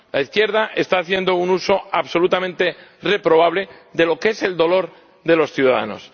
La izquierda está haciendo un uso absolutamente reprobable de lo que es el dolor de los ciudadanos.